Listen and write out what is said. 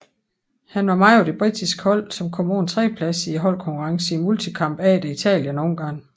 Han var med på det britiske hold som kom på en tredjeplads i holdkonkurrencen i multikamp efter Italien og Ungarn